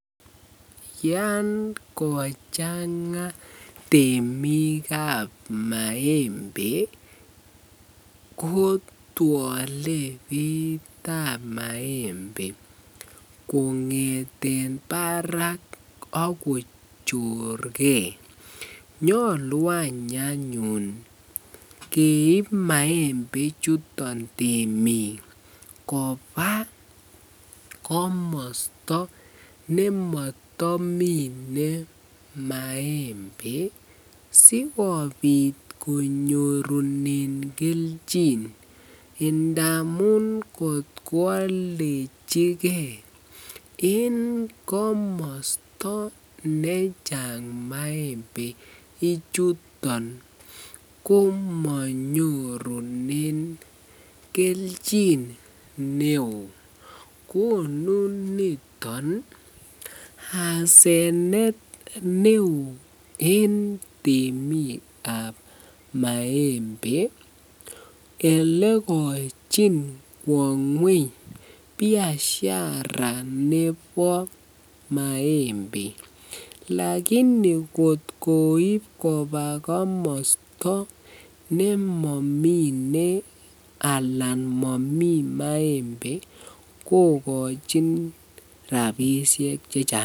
Yoon kochanga temikab maembe kotwole beitab maembe kongeten barak ak kochorke, nyolu any anyun keib maembe chuton temiik kobaa komosto nemotomine maembe sikobit konyorunen kelchin ndamun kot kwaldechike en komosto nechang maembe ichuton ko monyorunen kelchin neo, konu niton asenet neo en temikab maembe elekochin kwo ngweny biashara nebo maembe, lakini kot koib kobaa komosto nemomine anan momii maembe kokochin rabishek chechang.